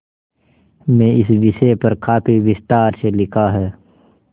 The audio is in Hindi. में इस विषय पर काफी विस्तार से लिखा है